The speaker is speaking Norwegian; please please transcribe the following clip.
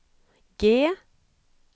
G